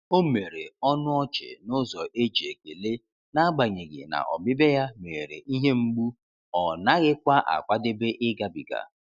O mere ọnụ ọchị n’ụzọ e ji ekele, n'agbanyeghi na ọbịbịa ya meghere ihe mgbu ọ naghịkwa akwadebe ịgabiga.